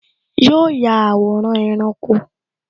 Yo ya àwòrán ẹranko